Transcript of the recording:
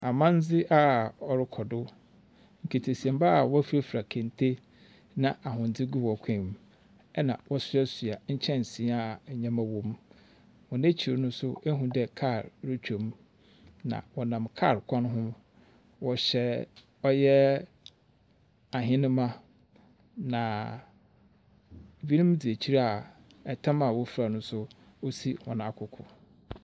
Amandzi a ɔrekɔdu. Nketesiamba a wefurafura kente na ahwindi gu wɔn kɔɔ mu ɛna wɔ suasua nkyɛnsii a ndɛma womu. Wekyir no nso ihu dɛɛ kaa retwem na wɔnam kaar kwan ho. Wɔhyɛ ɔyɛ ahenema na binom di akyir a ɛtam a wofra no nso, esi wɔn akuku.